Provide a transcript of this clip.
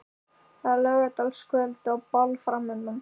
Það er laugardagskvöld og ball framundan.